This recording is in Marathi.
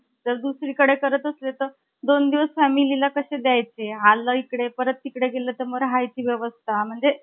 जर दुसरीकडे करत असतील तर , दोन दिवस family ला कसे द्यायचे . अर्ध इकडे नंतर तिकडे गेलो तर राहायची व्यवस्था म्हणजे ,